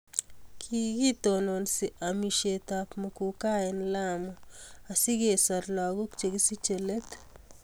kitononi amekab muguka eng Lamu asikosoru lakoik chekisichei let